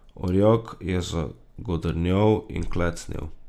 Orjak je zagodrnjal in klecnil.